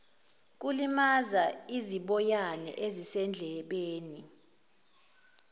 kulimaza iziboyana ezisendlebeni